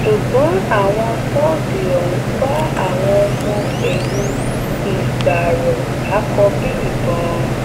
ṣùgbọn àwọn tóógi ọhún bá àwọn ọmọ ẹyìn ìgbárò lákọ bíi ìbọn